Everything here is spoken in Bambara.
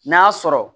N'a sɔrɔ